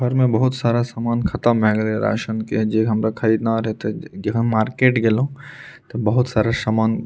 घर में बहुत सारा सामान खत्म भए गैले ये राशन के जे हमरा के खरीदना रहे ते हम मार्केट गेलो ते बहुत सारा समान --